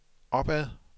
opad